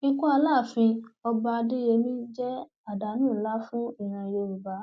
ikú aláàfin ọba adéyẹmi jẹ àdánù ńlá fún ìran yorùbá